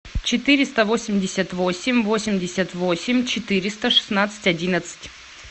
четыреста восемьдесят восемь восемьдесят восемь четыреста шестнадцать одиннадцать